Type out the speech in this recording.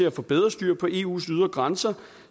at få bedre styr på eus ydre grænser